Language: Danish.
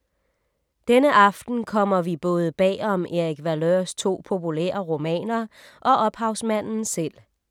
Denne aften kommer vi både bag om Erik Valeurs to populære romaner og ophavsmanden selv.